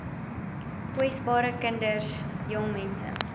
kwesbares kinders jongmense